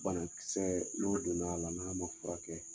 Banakisɛ n'o donna a la n'a ma furakɛ